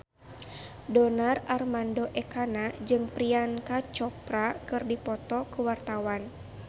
Donar Armando Ekana jeung Priyanka Chopra keur dipoto ku wartawan